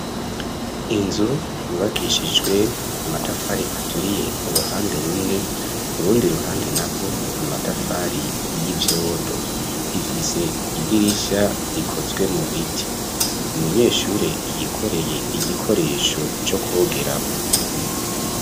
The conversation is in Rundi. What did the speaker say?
Inzu yubakishijwe amatafari aturiye uruhande rumwe, urundi ruhande narwo amatafari y'ivyondo, ifise idirisha rikozwe mu biti, umunyeshuri yikoreye igikoresho co kogeramo.